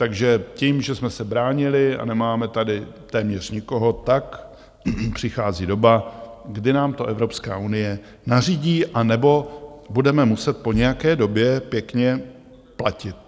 Takže tím, že jsme se bránili a nemáme tady téměř nikoho, tak přichází doba, kdy nám to Evropská unie nařídí anebo budeme muset po nějaké době pěkně platit.